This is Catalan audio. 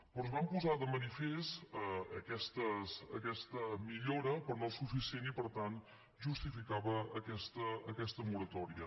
però es va posar de manifest aquesta millora però no suficient i per tant justificava aquesta moratòria